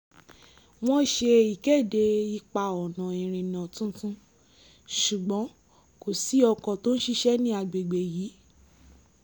wọ́n ṣe ìkéde ipa-ọ̀nà ìrìnà tuntun ṣùgbọ́n kò sí ọkọ̀ tó ń ṣiṣẹ́ ní agbègbè yìí